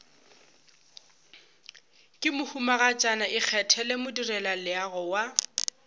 ke mohumagatšana ikgethele modirelaleago wa